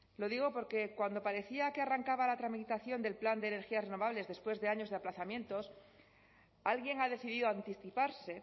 lo digo porque cuando parecía que arrancaba la tramitación del plan de energías renovables después de años de aplazamientos alguien ha decidido anticiparse